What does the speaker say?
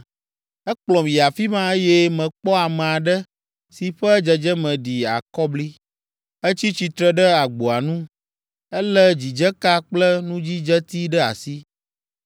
Ekplɔm yi afi ma, eye mekpɔ ame aɖe si ƒe dzedzeme ɖi akɔbli. Etsi tsitre ɖe agboa nu. Elé dzidzeka kple nudzidzeti ɖe asi.